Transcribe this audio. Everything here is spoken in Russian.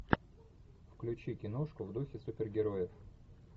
включи киношку в духе супергероев